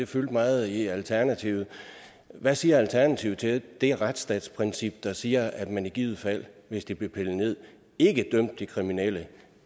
fyldte meget i alternativet hvad siger alternativet til det retsstatsprincip der siger at man i givet fald hvis det blev pillet ned ikke dømte de kriminelle